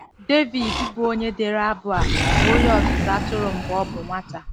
Devid, bụ́ onye dere abụ a, bụ onye ọzụzụ atụrụ mgbe ọ bụ nwata.